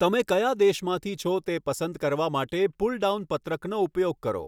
તમે કયા દેશમાંથી છો તે પસંદ કરવા માટે પુલડાઉન પત્રકનો ઉપયોગ કરો.